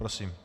Prosím.